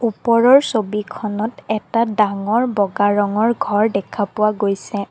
ওপৰৰ ছবিখনত এটা ডাঙৰ বগা ৰঙৰ ঘৰ দেখা পোৱা গৈছে।